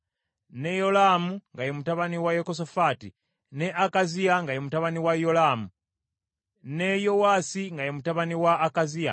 ne Yolaamu nga ye mutabani wa Yekosafaati, ne Akaziya nga ye mutabani wa Yolaamu, ne Yowaasi nga ye mutabani wa Akaziya,